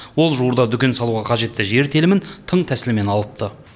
ол жуырда дүкен салуға қажетті жер телімін тың тәсілмен алыпты